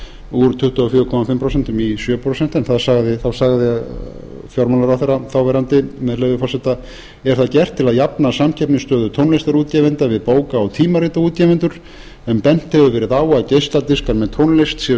úr tuttugu og fjögur og hálft prósent í sjö prósent þá sagði fjármálaráðherra þáv með leyfi forseta er það gert til að jafna samkeppnisstöðu tónlistarútgefenda við bóka og tímaritaútgefendur en bent hefur verið á að geisladiskar með tónlist séu